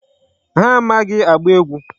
Ha amaghị agba egwu.